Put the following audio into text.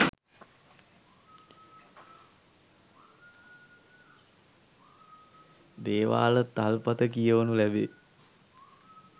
දේවාල තල්පත කියවනු ලැබේ.